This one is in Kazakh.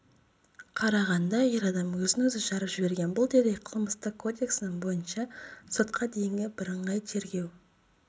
қарағанда ер адам өзін-өзі жарып жіберген бұл дерек қылмыстық кодексінің бойынша сотқа дейінгі бірыңғай тергеу